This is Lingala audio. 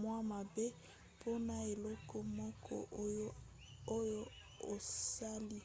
mwa mabe mpona eloko moko oyo osali